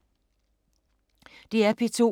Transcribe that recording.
DR P2